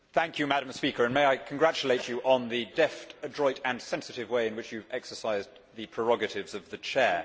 Madam President, may I congratulate you on the deft, adroit and sensitive way in which you have exercised the prerogatives of the Chair.